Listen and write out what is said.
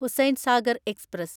Hussain Sagar express